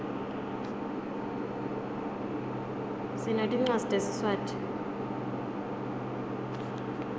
sinetincwadzi tesiswati